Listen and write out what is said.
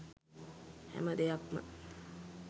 හැම දෙයක්ම